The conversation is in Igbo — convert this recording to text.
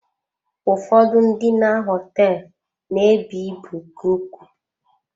Ụfọdụ ụlọ ndina hoteelu na-ebu ibu nke ukwuu.